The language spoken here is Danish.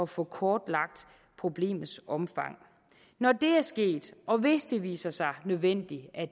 få kortlagt problemets omfang når det er sket og hvis det viser sig nødvendigt at